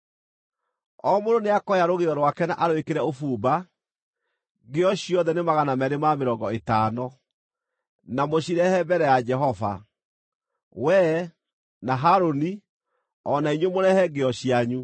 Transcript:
O mũndũ nĩakoya rũgĩo rwake na arwĩkĩre ũbumba, ngĩo ciothe nĩ 250, na mũcirehe mbere ya Jehova. Wee, na Harũni, o na inyuĩ mũrehe ngĩo cianyu.”